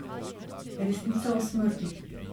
Resnica o smrti.